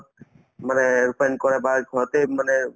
মানে ৰূপায়ন কৰা বা ঘৰতে মানে